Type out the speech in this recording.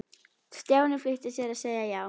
Stjáni flýtti sér að segja já.